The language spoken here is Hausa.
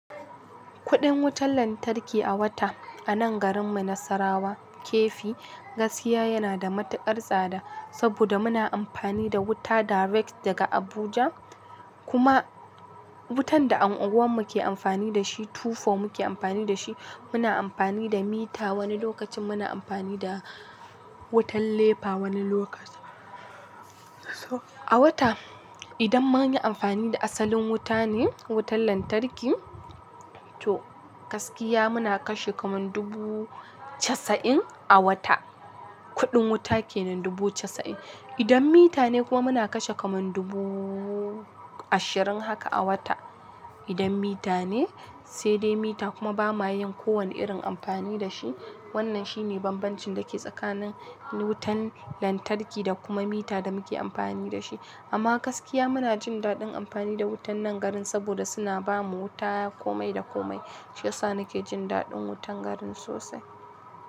Kuɗin wutar lantarki a wata a nan garinmu Nasarawa, Keffi, gaskiya yana da matuƙar tsada. Saboda muna amfani da wuta direct daga Abuja, kuma wutan da unguwarmu ke amfani da shi, 24 muke amfani da shi. Muna amfani da mita, wani lokacin muna amfani da wutan nepa wani lokacin. Toh, a wata idan munyi amfani da asalin wata ne, wutar lantarki toh gaskiya muna kashe kamar dubu casa'in a wata, kuɗin wuta kennan, dubu casa'in idan mita ne kuma muna kashe kaman dubu ashirin haka a wata. Idan mita ne, sai dai mita kuma ba ma yin kowane irin amfani da shi. Wannan shine banbancin dake tsakanin wutar lantarki da kuma mita da muke amfani shi amma gaskiya muna jin daɗin amfani da wutan nan garin saboda suna ba mu wuta komai da komai. Shi yasa nake jin daɗin wutan garin sosai.